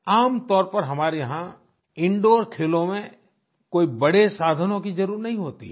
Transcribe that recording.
आमतौर पर हमारे यहाँ इंदूर खेलों में कोई बड़े साधनों की जरूरत नहीं होती है